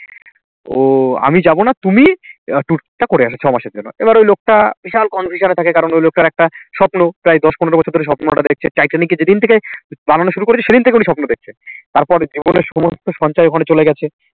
ও আমি যাব না তুমি আহ tour টা করে আসো ছয় মাসের জন্য এবার ওই লোকটা বিশাল confusion এ থাকে কারণ ঐ লোকটার একটা স্বপ্ন প্রায় দশ পনের বছর ধরে স্বপ্ন ওটা দেখছে টাইটানিক যেদিন থেকে বানানো শুরু করেছে সেদিন থেকে উনি স্বপ্ন দেখছে তারপর জীবনের সমস্ত সঞ্চয় ধন চলে গেছে